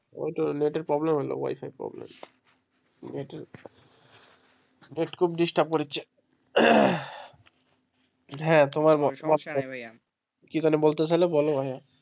ওই তো নেট এর problemwifiproblem নেট খুব distrub করছে কি জানো বলতে শিলে ভাইয়া?